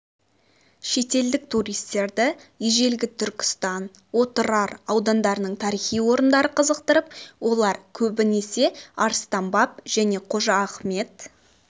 шетелдік туристерді ежелгі түркістан отырар аудандарының тарихи орындары қызықтырып олар көбінесе арыстан баб және қожа ахмет